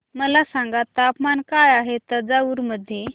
मला सांगा तापमान काय आहे तंजावूर मध्ये